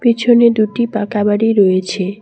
পেছনে দুটি পাকা বাড়ি রয়েছে।